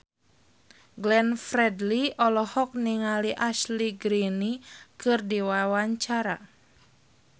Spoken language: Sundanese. Glenn Fredly olohok ningali Ashley Greene keur diwawancara